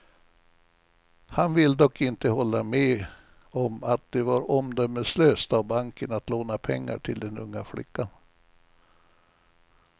Han vill dock inte hålla med om att det var omdömeslöst av banken att låna pengar till den unga flickan.